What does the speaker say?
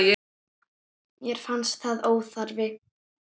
Mér fannst það óþarfi.